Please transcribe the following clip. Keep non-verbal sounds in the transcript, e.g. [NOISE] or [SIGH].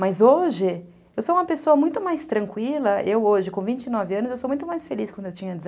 Mas hoje, eu sou uma pessoa muito mais tranquila, eu hoje com vinte e nove anos, eu sou muito mais feliz quando eu tinha [UNINTELLIGIBLE]